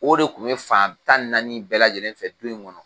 O de tun bɛ fan tan ni naani bɛɛ lajɛlen fɛ du in kɔnɔ.